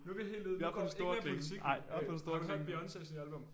Nu vi helt ude vi går ikke mere politik øh har du hørt Beyoncés nye album?